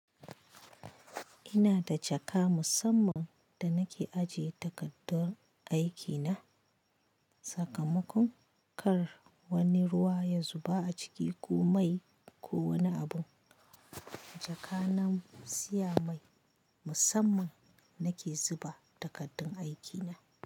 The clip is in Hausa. Ina da jaka musamman da nake ajiye takardun aikina. Sakamakon kar wani ruwa ya zuba a ciki ko mai ko wani abu. Jaka na siya mai musamman nake zuba takardun aikina.